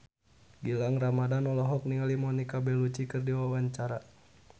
Gilang Ramadan olohok ningali Monica Belluci keur diwawancara